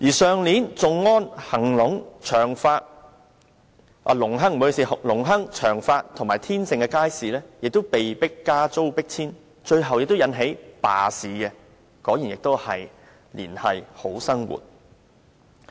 去年，頌安邨、隆亨邨、長發邨和天盛苑的街市亦被迫加租迫遷，最後引起罷市，果然同樣是"連繫好生活"。